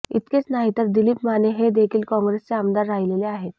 इतकेच नाही तर दिलीप माने हेदेखील काँग्रेसचे आमदार राहिलेले आहेत